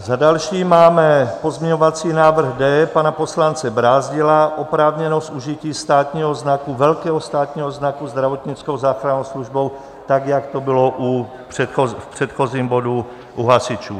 Za další máme pozměňovací návrh D pana poslance Brázdila, oprávněnost užití státního znaku, velkého státního znaku, zdravotnickou záchrannou službou, tak jak to bylo v předchozím bodu u hasičů.